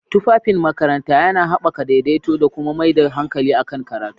Tufafin makaranta yana haɓaka daidaito da kuma mai da hankali kan karatu.